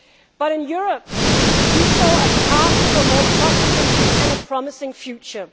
But in Europe, we saw a path to a more prosperous and promising future.